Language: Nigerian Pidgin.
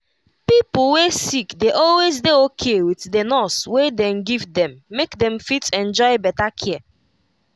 pipo wey sick dey always dey okay with the nurse wey dey give them make them fit enjoy better care.